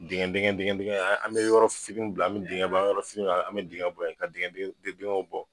Dingɛ dingɛ dingɛ an mi yɔrɔ fitini bila, an mi dinkɛ bɔ yen, an mi yɔrɔ fitini bila an me dingɛ bɔ ye, ka dingɛ dingɛw bɔ.